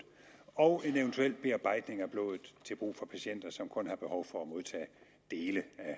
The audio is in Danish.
og en eventuel bearbejdning af blodet til brug for patienter som kun har behov for at modtage dele af